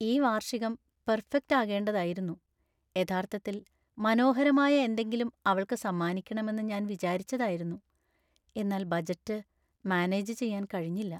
ഈ വാർഷികം പെർഫെക്റ്റ് ആകേണ്ടതായിരുന്നു യഥാർത്ഥത്തിൽ മനോഹരമായ എന്തെങ്കിലും അവൾക്ക് സമ്മാനിക്കണമെന്നു ഞാൻ വിചാരിച്ചതായിരുന്നു . എന്നാൽ ബജറ്റ് മാനേജ് ചെയ്യാന്‍ കഴിഞ്ഞില്ല.